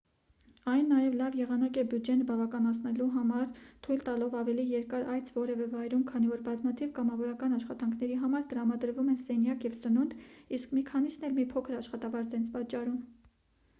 այն նաև լավ եղանակ է բյուջեն բավականացնելու համար թույլ տալով ավելի երկար այց որևէ վայրում քանի որ բազմաթիվ կամավորական աշխատանքների համար տրամադրվում են սենյակ և սնունդ իսկ մի քանիսն էլ մի փոքր աշխատավարձ են վճարում